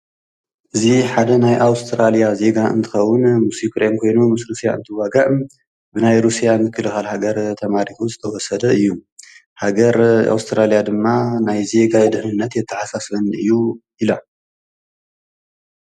እዝ ሓደ ናይ ኣውስትራልያ ዜጋ እንትኸውን ሙሴኽሬም ኮይኑ ምስ ርስያ እንትዋግዕ ብናይ ሩስያ ን ዘክልኻል ሃገር ተማሪሑ ዝተወሰደ እዩ ሃገር ኣውስትራልያ ድማ ናይ ዜጋ ይድንነት የተሓሳስብን እዩ ኢሉ።